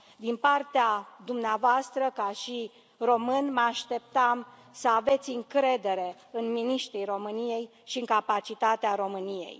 Din partea dumneavoastră, ca și român, mă așteptam să aveți încredere în miniștrii României și în capacitatea României.